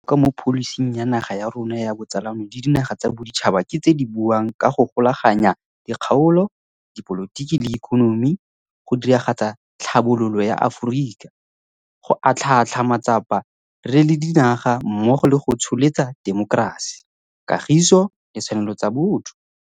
Dintlha tse di botlhokwa mo pholising ya naga ya rona ya botsalano le dinaga tsa boditšhaba ke tse di buang ka go golaganya dikgaolo, di polotiki le ikonomi, go diragatsa tlhabololo ya Aforika, go atlhaatlhaa matsapa re le dinaga mmogo le go tsholetsa temokerasi, kagiso le ditshwanelo tsa batho.